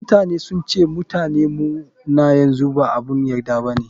Mutane sun ce Mutane mu na yanzu ba abun yarda bane.